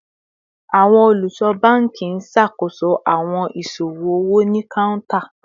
Awọn oluso banki n ṣakoso awọn iṣowo owo ni counter